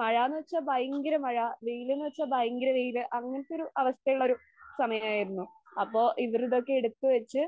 മഴ എന്നുവച്ച ഭയങ്കര മഴ, വെയില് എന്നുവച്ച ഭയങ്കര വെയില്. അങ്ങനത്തെ ഒരു അവസ്ഥ ഉള്ള ഒരു സമയമായിരുന്നു. അപ്പോ ഇവര് ഇതൊക്കെ എടുത്തുവച്ച്